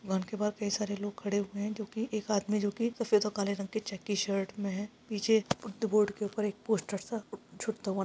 bank के बाहर कई सारे लोग खड़े हुए है जो की एक आदमी जो की सफ़ेद और काले रंग की शर्ट में है पीछे बोर्ड के ऊपर पोस्टर सा छुटता हुआ--